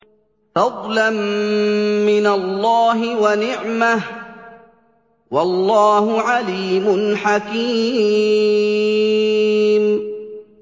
فَضْلًا مِّنَ اللَّهِ وَنِعْمَةً ۚ وَاللَّهُ عَلِيمٌ حَكِيمٌ